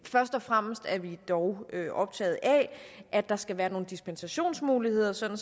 først og fremmest er vi dog optaget af at der skal være nogle dispensationsmuligheder sådan